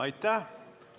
Aitäh!